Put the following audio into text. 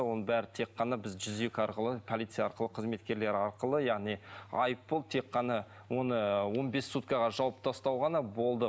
оның бәрі тек қана біз жүз екі арқылы полиция арқылы қызметкерлері арқылы яғни айыппұл тек қана оны ыыы он бес суткаға жауып тастау ғана болды